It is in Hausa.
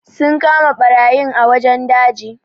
Sun kama barayin a wajen daji.